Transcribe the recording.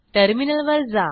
टर्मिनलवर जा